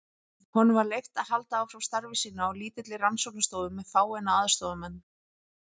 Honum var leyft að halda áfram starfi sínu á lítilli rannsóknarstofu með fáeina aðstoðarmenn.